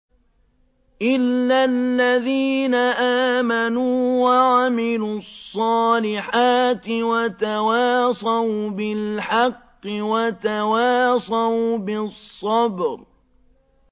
إِلَّا الَّذِينَ آمَنُوا وَعَمِلُوا الصَّالِحَاتِ وَتَوَاصَوْا بِالْحَقِّ وَتَوَاصَوْا بِالصَّبْرِ